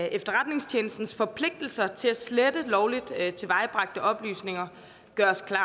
efterretningstjenestens forpligtelse til at slette lovligt tilvejebragte oplysninger gøres klart